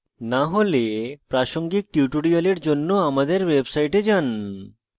না হলে প্রাসঙ্গিক tutorials জন্য আমাদের website যান